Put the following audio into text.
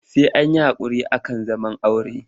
Sai an yi haƙuri ake zaman aure.